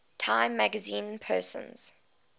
time magazine persons